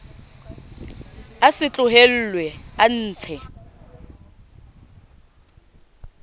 a se tlohellwe a ntshe